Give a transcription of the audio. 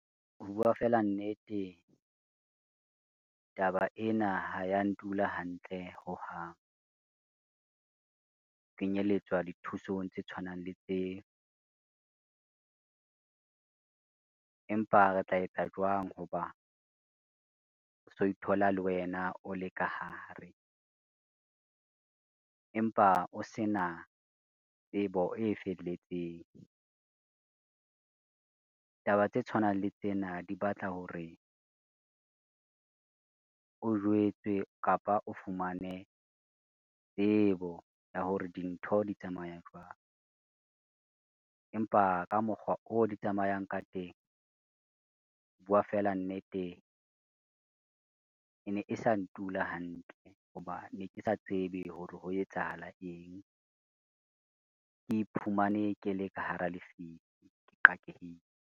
Ho bua fela nnete, taba ena ha ya ntula hantle hohang, kenyelletswa dithusong tse tshwanang le tse. Empa re tla etsa jwang ho ba o so ithola le wena o le ka hare, empa o se na tsebo e felletseng. Taba tse tshwanang le tsena di batla hore o jwetswe kapa o fumane tsebo ya hore dintho di tsamaya jwang, empa ka mokgwa o di tsamayang ka teng, ho bua fela nnete ene e sa ntula hantle ho ba ne ke sa tsebe hore ho etsahala eng, ke iphumane ke le ka hara lefifi ke qakehile.